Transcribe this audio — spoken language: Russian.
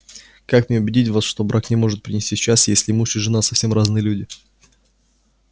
как мне убедить вас что брак не может принести счастья если муж и жена совсем разные люди